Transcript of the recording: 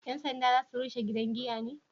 Yan sanda za su rushe gidan giya ne?